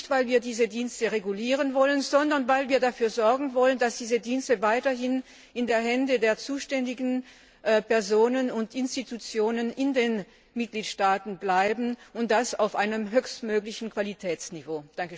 Nicht, weil wir diese Dienste regulieren wollen, sondern weil wir dafür sorgen wollen, dass diese Dienste weiterhin in den Händen der zuständigen Personen und Institutionen in den Mitgliedstaaten bleiben, und das auf einem höchstmöglichen Qualitätsniveau.